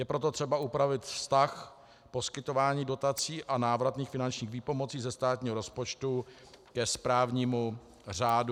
Je proto třeba upravit vztah poskytování dotací a návratných finančních výpomocí ze státního rozpočtu ke správnímu řádu.